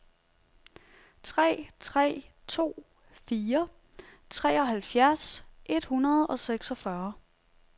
tre tre to fire treoghalvfjerds et hundrede og seksogfyrre